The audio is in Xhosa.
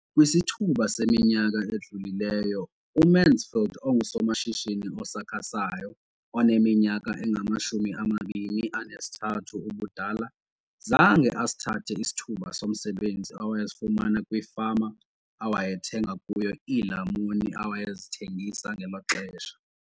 Kwisithuba seminyaka elishumi edlulileyo, uMansfield engusomashishini osakhasayo oneminyaka engama-23 ubudala, zange asithathe isithuba somsebenzi awayesifumana kwifama awayethenga kuyo iilamuni awayezithengisa ngelo xesha.